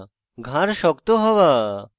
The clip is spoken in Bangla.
ঘাড় শক্ত হওয়া